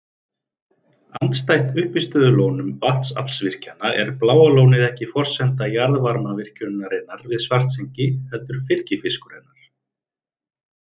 Andstætt uppistöðulónum vatnsaflsvirkjana er Bláa lónið ekki forsenda jarðvarmavirkjunarinnar við Svartsengi heldur fylgifiskur hennar.